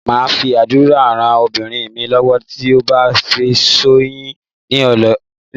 Mo máa fi àdúrà rán ọmọbìnrin mi lọ́wọ́ tí ó bá ti finúṣoyún nílé ọkọ.